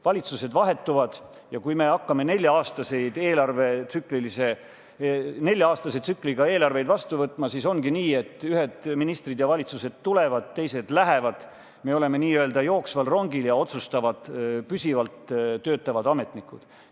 Valitsused vahetuvad ja kui me hakkame nelja-aastase tsükliga eelarveid vastu võtma, siis ongi nii, et ühed ministrid ja valitsused tulevad, teised lähevad, me oleme n-ö sõitval rongil ja otsustavad püsivalt töötavad ametnikud.